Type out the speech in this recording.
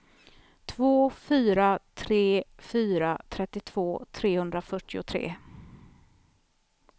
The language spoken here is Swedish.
två fyra tre fyra trettiotvå trehundrafyrtiotre